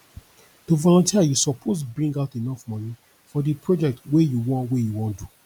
to volunteer you suppose bring out enough moni for di project wey you won wey you won do